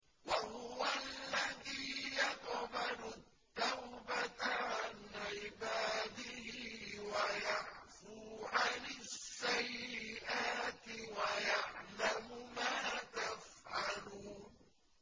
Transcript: وَهُوَ الَّذِي يَقْبَلُ التَّوْبَةَ عَنْ عِبَادِهِ وَيَعْفُو عَنِ السَّيِّئَاتِ وَيَعْلَمُ مَا تَفْعَلُونَ